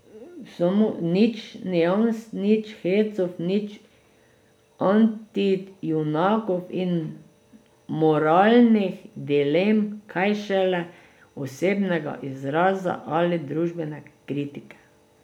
Nič nians, nič hecov, nič antijunakov in moralnih dilem, kaj šele osebnega izraza ali družbene kritike.